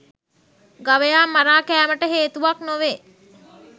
ගවයා මරා කෑමට හේතුවක් නොවේ.